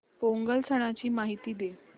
पोंगल सणाची माहिती दे